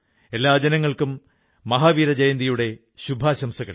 എല്ലാ ജനങ്ങൾക്കും മഹാവീരജയന്തിയുടെ ശുഭാശംസകൾ